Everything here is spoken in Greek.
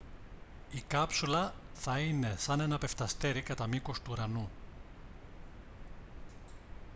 η κάψουλα θα είναι σαν ένα πεφταστέρι κατά μήκος του ουρανού